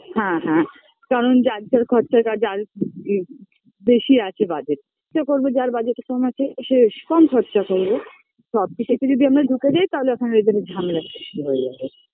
হ্যাঁ হ্যাঁ যেমন যার যার খরচাটা যার বেশি আছে budget সে করবে যার budget -এ কম আছে সেস কম খরচা করবে সবকিছুতে যদি আমরা ঢুকে যাই তাহলে ওখানে এদের ঝামেলার সৃষ্টি হয়ে যাবে